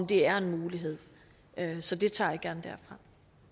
det er en mulighed så det tager jeg gerne derfra